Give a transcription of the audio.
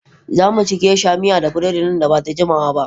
Za mu ci Geisha miya da burodi nan ba da jimawa ba.